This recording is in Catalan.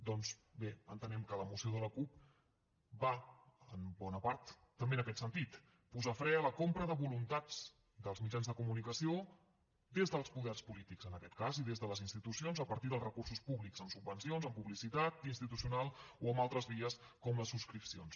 doncs bé entenem que la moció de la cup va en bona part també en aquest sentit posar fre a la compra de voluntats dels mitjans de comunicació des dels poders polítics en aquest cas i des de les institucions a partir dels recursos públics amb subvencions amb publicitat institucional o amb altres vies com les subscripcions